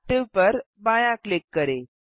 active पर बायाँ click करें